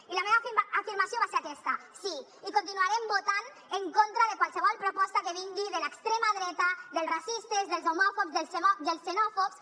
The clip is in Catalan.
i la meva afirmació va ser aquesta sí i continuarem votant en contra de qualsevol proposta que vingui de l’extrema dreta dels racistes dels homòfobs dels xenòfobs